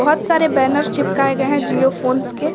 बहुत सारे बैनर्स चिपकाए गए हैं जियो फोन के।